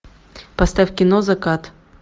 поставь кино закат